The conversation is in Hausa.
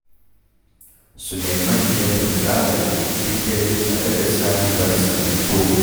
Sulaiman yakan zaga gari duk dare tare da sahibarsa, Mairo